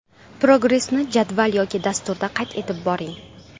Progressni jadval yoki dasturda qayd etib boring.